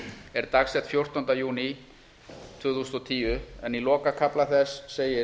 er dagsett fjórtánda júní tvö þúsund og tíu en í lokakafla þess segir